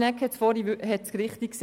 Schnegg hat es vorhin richtig gesagt.